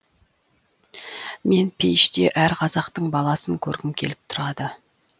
мен пейіште әр қазақтың баласын көргім келіп тұрады